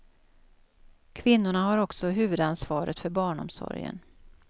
Kvinnorna har också huvudansvaret för barnomsorgen.